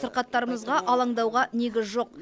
сырқаттарымызға алаңдауға негіз жоқ